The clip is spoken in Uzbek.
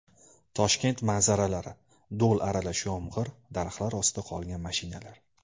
Toshkent manzaralari: Do‘l aralash yomg‘ir, daraxtlar ostida qolgan mashinalar .